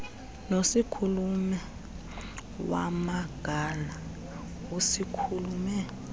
nosikhulume wamangala usikhulume